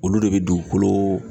Olu de bɛ dugukolo